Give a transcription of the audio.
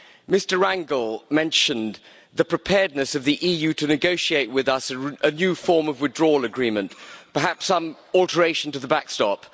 Mr Rangel mentioned the preparedness of the EU to negotiate with us a new form of withdrawal agreement, perhaps some alteration to the backstop.